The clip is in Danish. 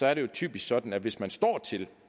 er det jo typisk sådan at hvis man står til